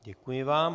Děkuji vám.